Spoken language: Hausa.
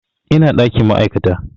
Ina ɗakin ma'aikata